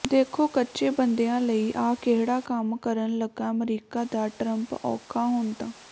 ਦੇਖੋ ਕੱਚੇ ਬੰਦਿਆਂ ਲਈ ਆਹ ਕਿਹੜਾ ਕੰਮ ਕਰਨ ਲਗਾ ਅਮਰੀਕਾ ਦਾ ਟਰੰਪ ਔਖਾ ਹੁਣ ਤਾਂ